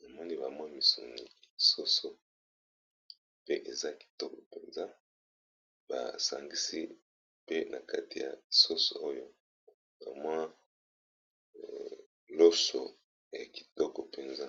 namoni ba mwa misuni soso pe eza kitoko mpenza ba sangisi pe na kati ya soso oyo ka mwa loso ya kitoko mpenza.